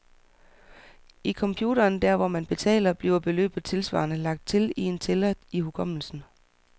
I computeren, der hvor man betaler, bliver beløbet tilsvarende lagt til i en tæller i hukommelsen.